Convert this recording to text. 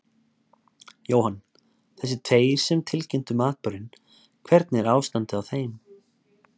Jóhann: Þessir tveir sem tilkynntu um atburðinn, hvernig er ástandið á þeim?